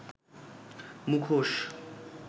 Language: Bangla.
মুখোশ